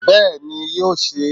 Bẹ́ẹ̀ni ni yóò se